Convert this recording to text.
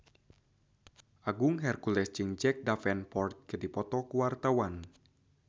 Agung Hercules jeung Jack Davenport keur dipoto ku wartawan